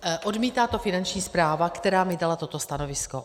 Odmítá to Finanční správa, která mi dala toto stanovisko.